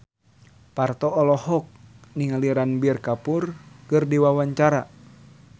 Parto olohok ningali Ranbir Kapoor keur diwawancara